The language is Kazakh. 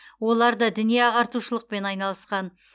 олар да діни ағартушылықпен айналысқан